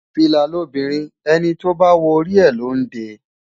Fìlà lobìnrin, ẹni tó bá wọ orí rẹ̀ ló ń dé e.